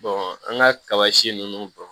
an ka kaba si ninnu dɔn